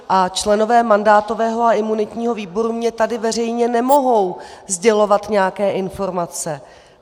A členové mandátového a imunitního výboru mně tady veřejně nemohou sdělovat nějaké informace.